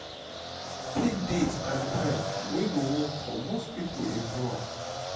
pick date and time wey go work for most people involved